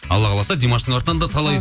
алла қаласа димаштың артынан да талай